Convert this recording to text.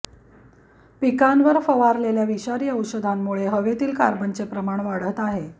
पिकांवर फवारलेल्या विषारी औषधांमुळे हवेतील कार्बनचे प्रमाण वाढत आहे